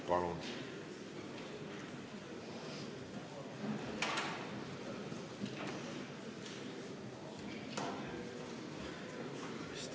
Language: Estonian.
Palun!